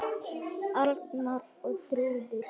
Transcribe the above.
Arnar og Þrúður.